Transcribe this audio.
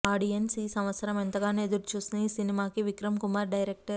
audience ఈ సంవత్సరం ఎంతగానో ఎదురు చూస్తున్న ఈ సినిమాకి విక్రం కుమార్ డైరెక్టర్